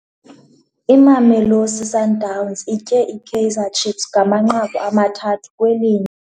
Imamelosi Sundowns itye iKaizer Chiefs ngamanqaku amathathu kwelinye.